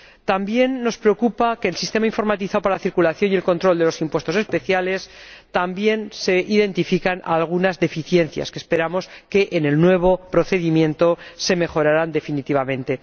También nos preocupa que en el sistema informatizado para la circulación y el control de los impuestos especiales se identifiquen algunas deficiencias que esperamos que en el nuevo procedimiento se mejorarán definitivamente.